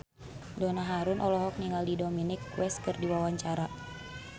Donna Harun olohok ningali Dominic West keur diwawancara